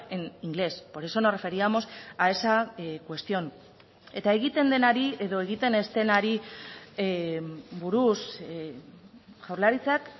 en inglés por eso nos referíamos a esa cuestión eta egiten denari edo egiten ez denari buruz jaurlaritzak